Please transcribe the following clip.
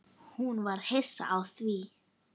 Hún var hissa á því.